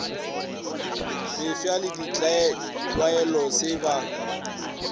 mefsa le ditlwaelo se ba